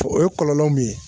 O kɔlɔlɔ min ye